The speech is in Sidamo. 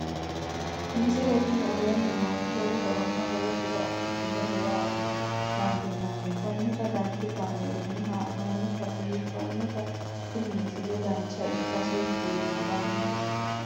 misile tini aleenni nooti lowo horonna lowo tiro afidhinote yaa dandiinanni konnira danchu kaameerinni haa'noonnite biiffannote tini misile dancha ikkase buunxanni